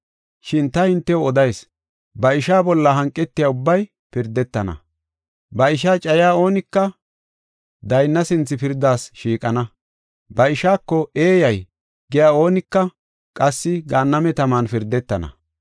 Shin ta hintew odayis; ba isha bolla hanqetiya ubbay pirdetana. Ba ishaa cayiya oonika daynna sinthe pirdas shiiqana. Ba ishaako, ‘Eeyay’ giya oonika qassi gaanname taman pirdetana.